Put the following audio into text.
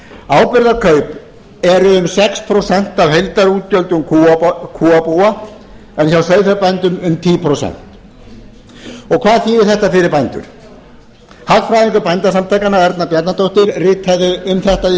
áburðarkaup eru um sex prósent af heildarútgjöldum kúabúa en hjá sauðfjárbændum um tíu prósent hvað þýðir þetta fyrir bændur hagfræðingur bændasamtakanna erna bjarnadóttir ritaði um þetta í